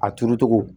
A turu cogo